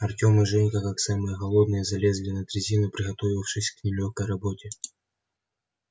артем и женька как самые молодые залезли на дрезину приготовившись к нелёгкой работе